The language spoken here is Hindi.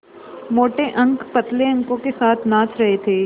मोटे अंक पतले अंकों के साथ नाच रहे थे